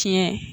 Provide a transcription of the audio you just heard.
Tiɲɛ